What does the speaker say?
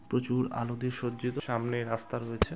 প্রচুর আলো দিয়ে সজ্জিত সামনে রাস্তা রয়েছে।